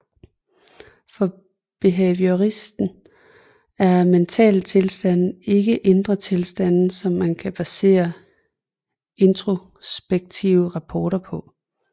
For behavioristen er mentale tilstande ikke indre tilstande som man kan basere introspektive rapporter på